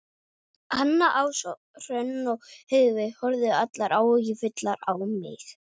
Anna, Ása, Hrönn og Heiðveig horfðu allar áhyggjufullar á mig.